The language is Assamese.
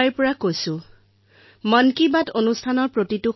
আপুনি যি প্ৰশ্ন সুধিছে তাৰ পোনপটীয়া উত্তৰ হল একো প্ৰস্তুতি নকৰো